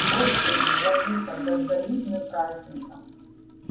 господи владыко дождались мы праздника